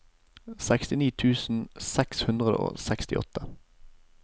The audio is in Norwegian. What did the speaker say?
sekstini tusen seks hundre og sekstiåtte